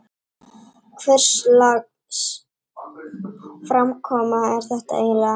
Hvurslags framkoma er þetta eiginlega?